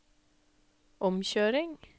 omkjøring